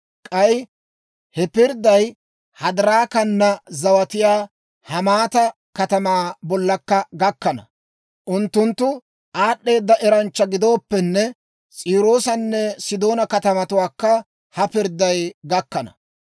K'ay he pirdday Hadiraakana zawatiyaa Hamaata katamaa bollakka gakkana; unttunttu aad'd'eeda eranchcha gidooppenne, S'iiroosanne Sidoona katamatuwaakka ha pirdday gakkana.